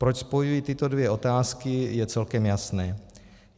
Proč spojuji tyto dvě otázky, je celkem jasné.